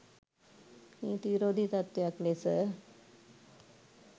නීති විරෝධී තත්ත්වයක් ලෙස